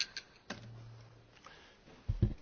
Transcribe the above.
Sí, el extremismo, claro que sí, es un desafío.